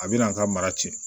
A bɛna an ka mara cɛ